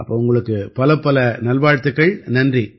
அப்ப உங்களுக்கு பலப்பல நல்வாழ்த்துக்கள் நன்றி